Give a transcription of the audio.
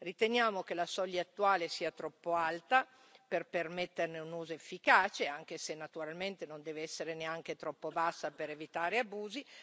Riteniamo che la soglia attuale sia troppo alta per permetterne un uso efficace, anche se naturalmente non deve essere neanche troppo bassa per evitare abusi.